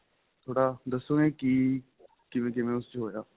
ਥੋੜਾ ਦਸੋਗੇ ਕਿ ਕਿਵੇਂ ਕਿਵੇਂ ਉਸ ਚ ਹੋਇਆ